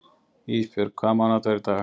Ísbjörg, hvaða mánaðardagur er í dag?